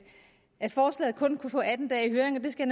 at forslaget kun kunne få atten dage i høring og det skal